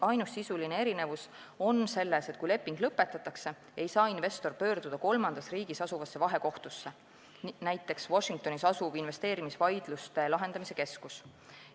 Ainus sisuline erinevus on selles, et kui leping lõpetatakse, ei saa investor pöörduda kolmandas riigis asuvasse vahekohtusse, näiteks Washingtonis asuvasse investeerimisvaidluste lahendamise keskusesse.